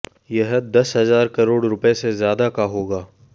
यह दस हजार करोड़ रुपए से ज्यादा का होगा